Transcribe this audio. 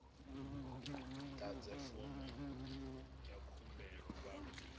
ḓadze fomo ya khumbelo vha